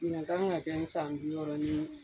Ɲinan kan ka kɛ n san bi wɔɔrɔ ni